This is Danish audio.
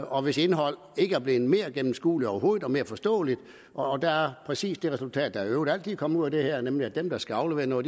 og hvis indhold ikke er blevet mere gennemskueligt overhovedet og mere forståeligt og der er præcis det resultat der i øvrigt altid kommer ud af det her nemlig at dem der skal aflevere noget